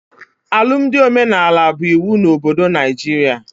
Alụmdi omenala bụ iwu na obodo Naijiria